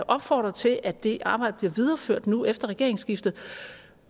opfordre til at det arbejde bliver videreført nu efter regeringsskiftet